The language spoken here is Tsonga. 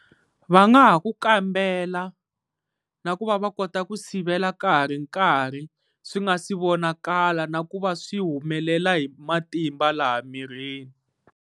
Va nga ha ku kambela na ku va va kota ku sivela ka ha ri nkarhi, swi nga si vonakala na ku va swi humelela hi matimba laha mirini.